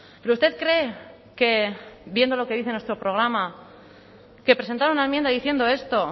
pero usted cree que viendo lo que dice nuestro programa que presentar una enmienda diciendo esto